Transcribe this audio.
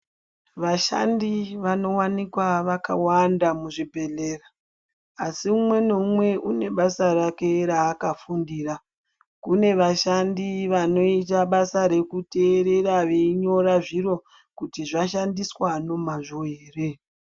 Vashandi vanowanikwa vakawanda muzvibhedhlera. Asi umwe newumwe unebasa rake rakafundira. Kune vashandi vanoyita basa rekuterera veyinyora zviro kuti zvanyandiswa nomazvo here.